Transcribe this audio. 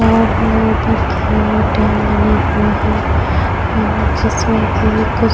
और उपर की और डैम बने हुए है और जिसमें की कुछ --